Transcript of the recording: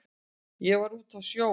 Ég var úti á sjó.